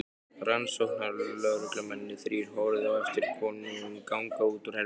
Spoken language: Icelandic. Rannsóknarlögreglumennirnir þrír horfðu á eftir konunum ganga út úr herberginu.